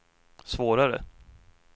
svårare